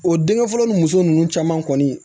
O dengɛn fɔlɔ ni muso nunnu caman kɔni